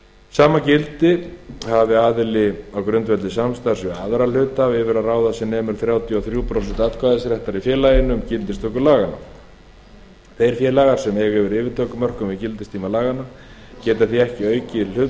sama gildir hafi aðili á grundvelli samstarfs við aðra hluthafa yfir að ráða sem nemur þrjátíu og þrjú prósent atkvæðisréttar í félaginu við gildistöku laganna þeir félagar sem eiga yfir yfirtökumörkum við gildistöku laganna geta því ekki aukið við hlut